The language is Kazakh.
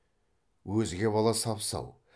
өзге бала сап сау